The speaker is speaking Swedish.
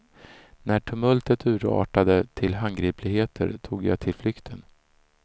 När tumultet urartade till handgripligheter tog jag till flykten.